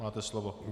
Máte slovo.